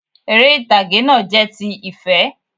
Eré ìtàgé náà jẹ́ ti ìfé